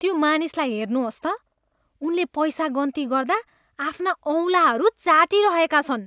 त्यो मानिसलाई हेर्नुहोस् त। उनले पैसा गन्ती गर्दा आफ्ना औँलाहरू चाटिरहेका छन्।